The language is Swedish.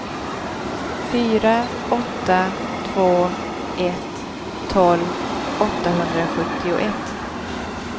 fyra åtta två ett tolv åttahundrasjuttioett